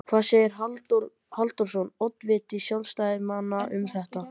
Hvað segir Halldór Halldórsson, oddviti sjálfstæðismanna, um þetta?